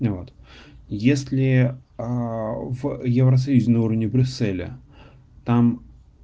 вот если в евросоюзе на уровне брюсселя там